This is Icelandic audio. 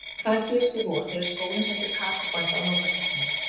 En hvað gerist í vor, þegar skólinn sendir Kókó-band á lokakeppnina?